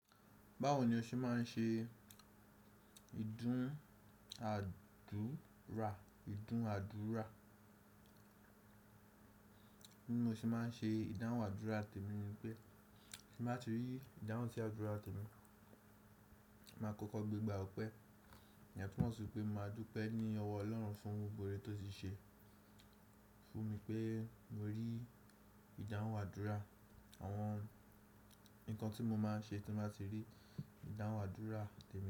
Báwo ni o ṣe máa ń ṣe ìdún àdúrà? Ìdún àdúrà. Bí mo ṣe máa ń ṣe ìdáhùn àdúrà tèmi ni pé tí mo bá ti rí ìdáhùn tí àdúrà tèmi, màá kọ́kọ́ gbé gbà ọ̀pẹ. Iyen tumo sií pé màá dúpẹ́ ní ọwọ́ Ọlọ́run fún gbogbo orè tó ti ṣe fún mi pé mo rí ìdáhùn àdúrà. Àwọn ǹkan tí mo máa ń ṣe tí mo bá ti rí ìdáhùn àdúrà tèmi.